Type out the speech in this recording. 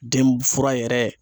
Den fura yɛrɛ